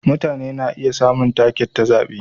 Mutane na iya samun take ta zabe.